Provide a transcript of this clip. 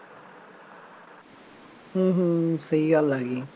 ਹੂੰ ਹੂੰ ਸਹੀ ਗੱਲ ਆ ਗਈ